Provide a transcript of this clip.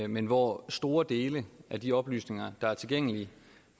men hvor store dele af de oplysninger der er tilgængelige